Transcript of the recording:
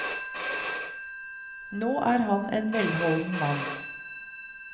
Nå er han en velholden mann.